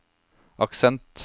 aksent